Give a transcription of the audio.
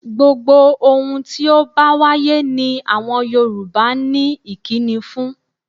Gbogbo ohun tí ó bá wáyé ni àwọn Yorùbá ní ìkíni fún.